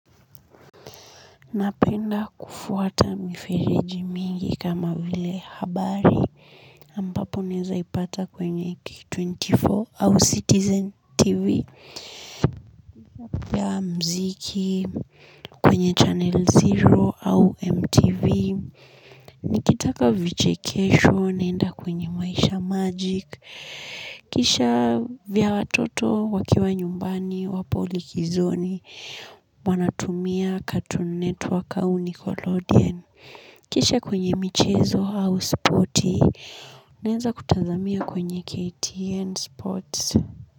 Napenda kufuata miferiji mingi kama vile habari ambapo naweza ipata kwenye k24 au Citizen TV. Ya mziki kwenye Channel Zero au MTV. Nikitaka vichekesho naenda kwenye maisha magic. Kisha vya watoto wakiwa nyumbani wapo likizoni. Wanatumia cartoon network au Nickelodeon. Kisha kwenye michezo au spoti, naenza kutazamia kwenye KTN Sports.